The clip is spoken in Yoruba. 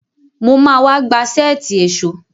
Mo ma wá.gba sẹ́ẹ̀tì èṣó